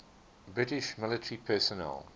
british military personnel